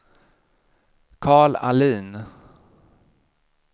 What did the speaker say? Carl Ahlin